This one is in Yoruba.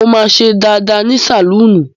Mo máa ṣe dàda ní sálọ́ọ̀nù.